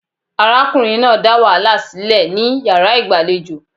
Arákunrin náà dá wàhálà sílẹ̀ ní yàrá ìgbàlejò.